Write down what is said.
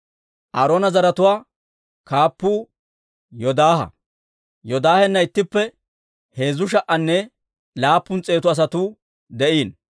Aaroona zaratuwaa kaappuu Yoodaaha; Yoodaahena ittippe heezzu sha"anne laappun s'eetu asatuu de'iino.